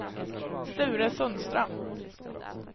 Sture Sundström